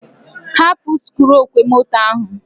Hapụ sikruuọkwọmoto ahụ.